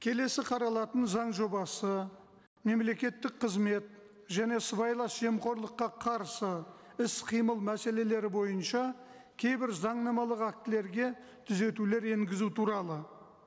келесі қаралатын заң жобасы мемлекеттік қызмет және сыбайлас жемқорлыққа қарсы іс қимыл мәселелері бойынша кейбір заңнамалық актілерге түзетулер енгізу туралы